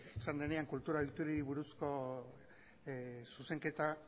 denean kultura ohiturei buruzko zuzenketa